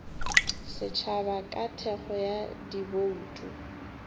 setšhaba ka thekgo ya dibouto